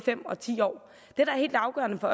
går